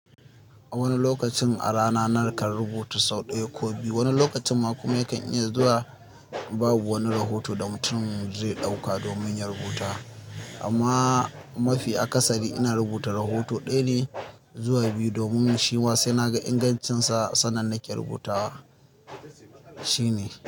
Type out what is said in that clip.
A wani lokacin a rana nakan rubuta sau ɗaya ko biyu. Wani lokacin ma kuma yakan iya zuwa babu wani rahoto da mutum zai ɗauka domin ya rubuta. Amma mafi akasari ina rubuta rahoto ɗaya ne zuwa biyu domin shima sena ga ingancinsa sannan nake rubutawa shi ne.